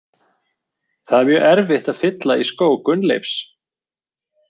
Það er mjög erfitt að fylla í skó Gunnleifs.